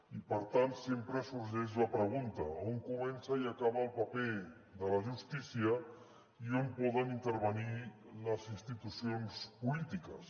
i per tant sempre sorgeix la pregunta d’on comença i acaba el paper de la justícia i on poden intervenir les institucions polítiques